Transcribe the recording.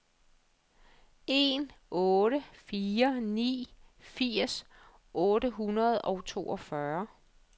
en otte fire ni firs otte hundrede og toogfyrre